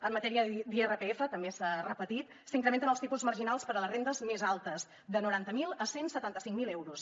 en matèria d’irpf també s’ha repetit s’incrementen els tipus marginals per a les rendes més altes de noranta miler a cent i setanta cinc mil euros